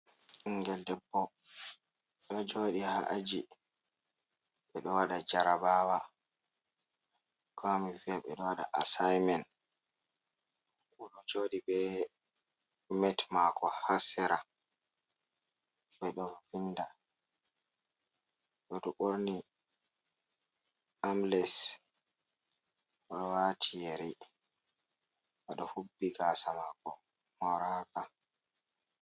Ɓinngel debbo ɗo jooɗi haa aji, ɓe ɗo waɗa jarabaawa Koo mi vi'a ɓe ɗo waɗa asaymen. O ɗo jooɗi bee met maako haa sera, ɓe ɗo vinnda. O ɗo borni ambles o ɗo waati yeri, o ɗo hubbi gaasa maako mooraaka.